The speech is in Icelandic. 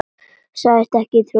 Sagðist ekki trúa mér.